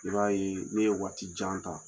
N'i y'a ye ne ye waati jan ta